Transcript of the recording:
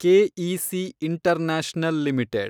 K E C international limited